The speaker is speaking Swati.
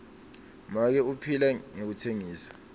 make uphila ngekutsengisa